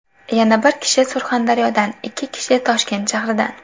Yana bir kishi Surxondaryodan, ikki kishi Toshkent shahridan.